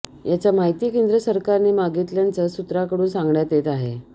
याचा माहिती केंद्र सरकारने मागितल्याचं सूत्रांकडून सांगण्यात येत आहे